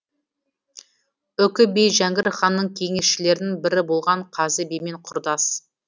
үкі би жәңгір ханның кеңесшілерінің бірі болған қазы бимен құрдас